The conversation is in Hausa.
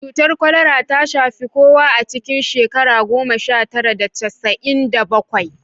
Cutar kwalara ta shafi kowa a cikin shekara goma sha tara da casa'in da bakwai